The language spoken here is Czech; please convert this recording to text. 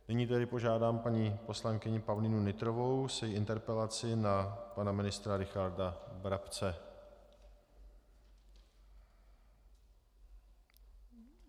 Nyní tedy požádám paní poslankyni Pavlínu Nytrovou s její interpelací na pana ministra Richarda Brabce.